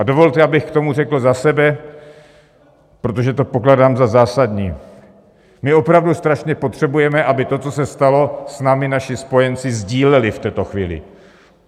A dovolte, abych k tomu řekl za sebe, protože to pokládám za zásadní: my opravdu strašně potřebujeme, aby to, co se stalo, s námi naši spojenci sdíleli v této chvíli.